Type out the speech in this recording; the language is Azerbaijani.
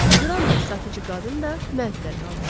Qran da, satıcı qadın da mətəəttəl qalmışdılar.